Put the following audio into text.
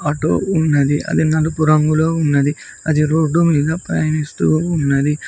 auto ఉన్నది అది నలుపు రంగులో ఉన్నది అది రోడ్డు మీద ప్రయాణిస్తూ ఉన్నది